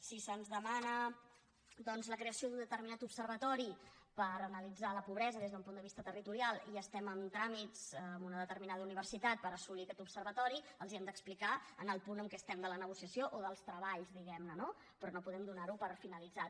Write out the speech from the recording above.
si se’ns demana doncs la creació d’un determinat observatori per analitzar la pobresa des d’un punt de vista territorial i estem en tràmits amb una determinada universitat per assolir aquest observatori els hem d’explicar el punt en què estem de la negociació o dels treballs diguemne no però no podem donarho per finalitzat